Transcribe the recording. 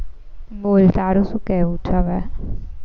બોલ તારું શું કેવું છે હવે